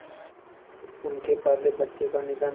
उनके पहले बच्चे का निधन